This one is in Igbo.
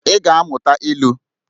Ị ga-amụta ilu!